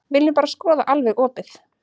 Viljum bara skoða alveg opið.